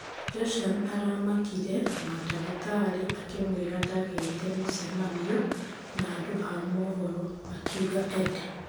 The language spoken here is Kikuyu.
Joshan aramakire na ndagĩtari akĩmwĩra ndageete mũcemanio na andũ a mohoro, akĩuga Edd.